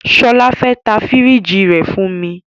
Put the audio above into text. Shola fe ta firigi rẹ fun mi